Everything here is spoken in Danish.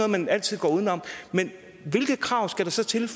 man altid går uden om men hvilke krav skal der så til